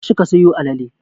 Tashi ka sayo alale!